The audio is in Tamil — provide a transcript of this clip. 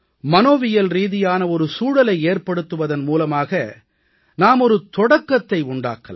மனோவியல் ரீதியான ஒரு சூழலை ஏற்படுத்துவதன் மூலமாக நாம் ஒரு தொடக்கத்தை உண்டாக்கலாம்